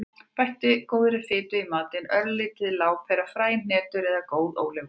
Bættu góðri fitu í matinn; örlítil lárpera, fræ, hnetur eða góð ólífuolía.